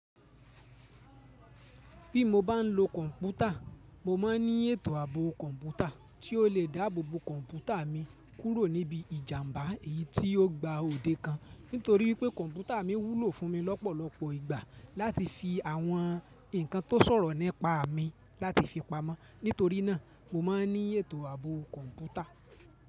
Bí mo bá ń lo kọ̀ǹpútà, mo má ń ní ètò ààbò kọ̀ǹpútà tí ó lè dáàbò kọ̀ǹpútà mi kúrò níbi ìjàǹbá èyí tí ó gba òde kan. Nítorí pé kọ̀ǹpútà mi wúlò fún mi lọ́pọ̀lọpọ̀ ìgbà láti fi àwọn ǹnkan tó sọ̀rọ̀ ni pa mí láti fi pamọ́. Nítorí náà, mo má ń ní ètò ààbò kọ̀ǹpútà.